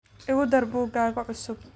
Igu dar buuggaaga cusub